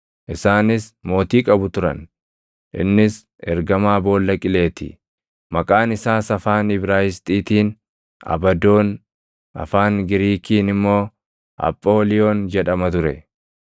Isaanis mootii qabu turan; innis ergamaa Boolla Qilee ti; maqaan isaas afaan Ibraayisxiitiin Abadoon, afaan Giriikiin immoo Aphooliyoon jedhama ture.